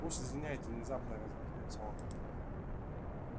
уж извиняйте внезапно разозлился он